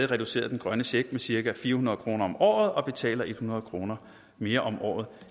reduceret den grønne check med cirka fire hundrede kroner om året og betaler hundrede kroner mere om året